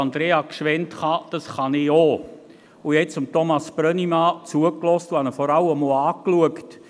Und ich habe jetzt Thomas Brönnimann zugehört und habe ihn vor allem auch angeschaut.